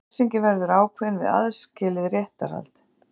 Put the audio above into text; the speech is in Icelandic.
Refsingin verður ákveðin við aðskilið réttarhald